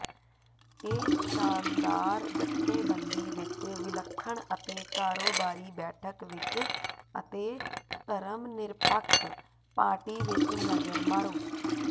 ਇਸ ਸ਼ਾਨਦਾਰ ਜਥੇਬੰਦੀ ਵਿਚ ਵਿਲੱਖਣ ਅਤੇ ਕਾਰੋਬਾਰੀ ਬੈਠਕ ਵਿਚ ਅਤੇ ਧਰਮਨਿਰਪੱਖ ਪਾਰਟੀ ਵਿਚ ਨਜ਼ਰ ਮਾਰੋ